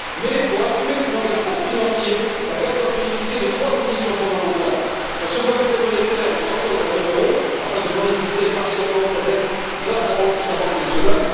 Mais, pour assumer ses engagements financiers, la Grèce doit bénéficier de trois conditions fondamentales sa souveraineté monétaire en sortant de la zone euro afin de monétiser partiellement sa dette grâce à sa banque nationale